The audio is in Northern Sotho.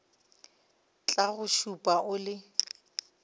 tla go šupa o le